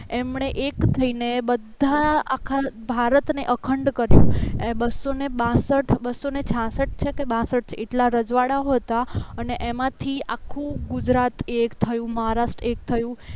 એમણે એક થઈને બધા આખા ભારતને અખંડ કર્યો બસોને બાસઠ બસોને છાસથ છે કે બાસઠ છે એટલા રજવાડાઓ હતા અને એમાંથી આખું ગુજરાત એક થયું મહારાષ્ટ્ર એક થયું